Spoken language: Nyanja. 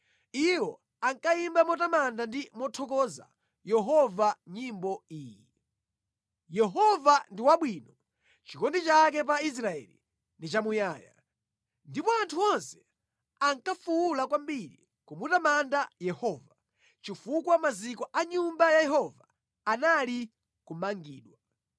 Iwo ankayimba motamanda ndi mothokoza Yehova nyimbo iyi: “Yehova ndi wabwino; chikondi chake pa Israeli ndi chamuyaya.” Ndipo anthu onse ankafuwula kwambiri kumutamanda Yehova, chifukwa maziko a Nyumba ya Yehova anali kumangidwa.